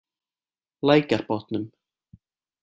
Lækjarbotnum